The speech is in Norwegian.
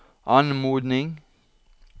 anmodning